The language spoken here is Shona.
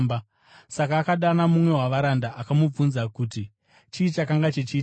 Saka akadana mumwe wavaranda akamubvunza kuti chii chakanga chichiitika.